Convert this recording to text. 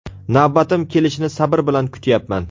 Navbatim kelishini sabr bilan kutyapman.